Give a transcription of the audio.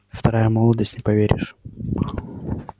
вторая молодость не поверишь